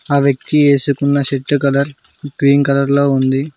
ఆ వ్యక్తి వేసుకున్న షర్ట్ కలర్ గ్రీన్ కలర్ ల ఉంది.